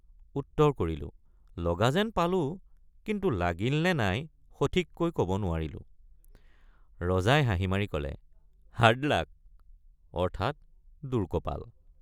উত্তৰ কৰিলোঁলগা যেন পালোঁ কিন্তু লাগিল নে নাই সঠিককৈ কব নোৱাৰিলোঁ৷ ৰজাই হাঁহি মাৰি কলে Hard luck অৰ্থাৎ দুৰ্কপাল।